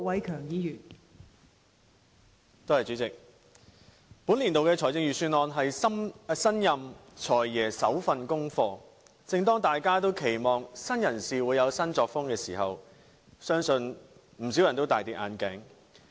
代理主席，本年度的財政預算案是新任"財爺"的首份功課，正當大家期望新人事會有新作風的時候，相信不少人也大失所望。